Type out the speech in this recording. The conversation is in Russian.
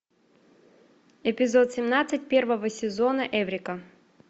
эпизод семнадцать первого сезона эврика